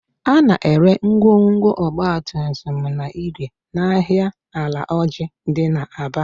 A na-ere ngwongwo ọgbatumtum na igwe n'ahịa Alaoji dị n'Aba